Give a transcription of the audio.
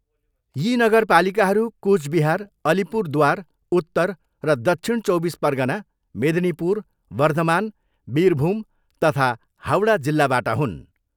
यी नगरपालिकाहरू कुचबिहार, अलिपुरद्वार, उत्तर र दक्षिण चौबिस परगना, मेदिनीपुर, वर्धमान, बिरभुम तथा हाउडा जिल्लाबाट हुन्।